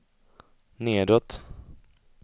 nedåt